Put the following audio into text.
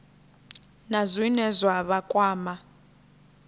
na zwine zwa vha kwama